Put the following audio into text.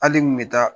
Hali n bɛ taa